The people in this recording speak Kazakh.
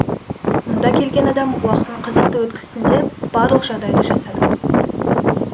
мұнда келген адам уақытын қызықты өткізсін деп барлық жағдайды жасадық